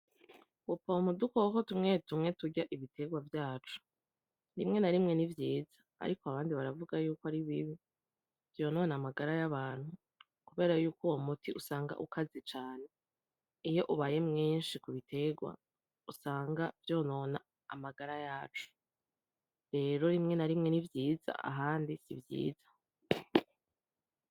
Gupompa udukoko tumwe tumwe turya ibitegwa vyacu, rimwe na rimwe ni vyiza ariko abandi baravuga ko ari bibi, vyonona amagara y'abantu kubera ko uyo muti usanga ukaze cane iyo ubaye mwinshi ku bitegwa usanga vyonona amagara yacu. Rero rimwe na rimwe ni vyiza ahandi si vyiza.